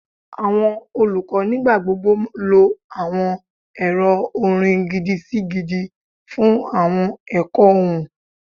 Awọn olukọ nigbagbogbo lo awọn ẹrọ orin gidi-si-gidi fun awọn ẹkọ ohun